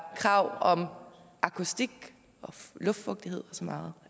krav om akustik luftfugtighed og så meget